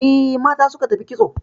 E, mata suka tafi kitso